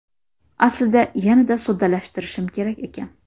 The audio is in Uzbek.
Aslida yanada soddalashtirishim kerak ekan.